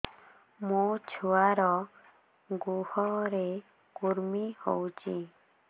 ମୋ ଛୁଆର୍ ଗୁହରେ କୁର୍ମି ହଉଚି